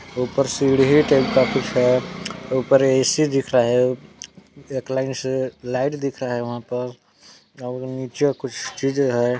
ऊपर सीढ़ी टाइप कुछ है ऊपर ऐ_सी दिख रहा है एक लाइन से लाइट दिख रहा है वहाँ पस और नीचे कुछ चीजें है।